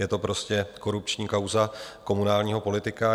Je to prostě korupční kauza komunálního politika.